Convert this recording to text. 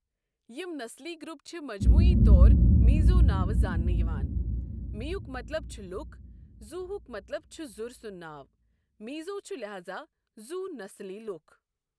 یِم نسلی گروپ چھ مجموعی طور میزو ناوٕ زاننہٕ یِوان، می ہک مطلب چھ لوٗکھ، زو ہُک مطلب چھُ زُر سنٛد ناو، میزو چھُ لہازا زُو نسلی لوُکھ۔